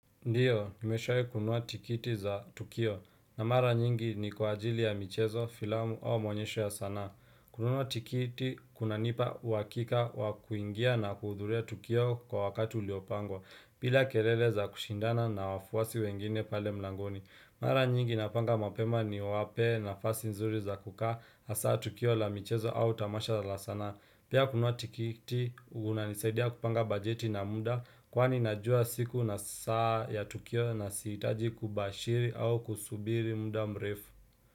Ndiyo, nimeshawai kununua tikiti za tukio na mara nyingi ni kwa ajili ya michezo filamu au maonyesho ya sanaa. Kunua tikiti, kunanipa uhakika wa kuingia na kuudhuria tukio kwa wakati uliopangwa, bila kelele za kushindana na wafuasi wengine pale mlangoni. Mara nyingi napanga mapema niwape nafasi nzuri za kukaa, hasa tukio la michezo au tamasha la sanaa. Pia kununua tikiti, unanisaidia kupanga bajeti na muda, Kwani najua siku na saa ya Tukio na siitaji kubashiri au kusubiri muda mrefu.